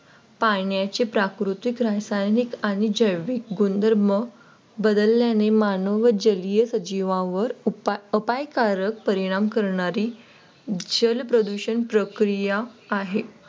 पाण्याचे प्राकृतिक रासायनिक आणि जैविक गुणधर्म बदलल्याने मानव जलीय सजीवावर उपायकारक परिणाम करणारी जलप्रदूषण प्रक्रिया आहे.